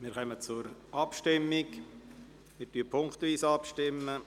Wir kommen zur Abstimmung und werden punktweise abstimmen.